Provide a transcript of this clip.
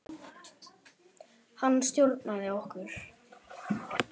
Hann stjórnaði okkur.